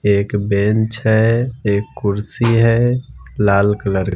एक बेंच है एक कुर्सी है लाल कलर --